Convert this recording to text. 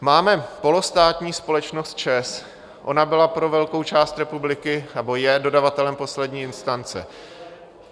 Máme polostátní společnost ČEZ, ona byla pro velkou část republiky nebo je dodavatelem poslední instance.